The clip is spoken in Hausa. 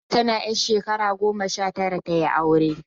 Hadiza tana ƴar shakara goma sha tara ta yi aure